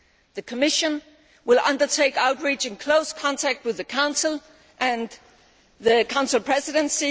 The Commission will undertake outreach in close contact with the Council and the Council Presidency.